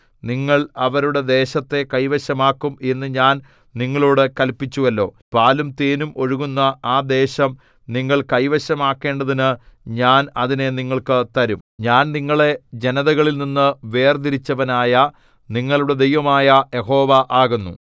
നിങ്ങൾ അവരുടെ ദേശത്തെ കൈവശമാക്കും എന്നു ഞാൻ നിങ്ങളോടു കല്പിച്ചുവല്ലോ പാലും തേനും ഒഴുകുന്ന ആ ദേശം നിങ്ങൾ കൈവശമാക്കേണ്ടതിനു ഞാൻ അതിനെ നിങ്ങൾക്ക് തരും ഞാൻ നിങ്ങളെ ജനതകളിൽനിന്നു വേർതിരിച്ചവനായ നിങ്ങളുടെ ദൈവമായ യഹോവ ആകുന്നു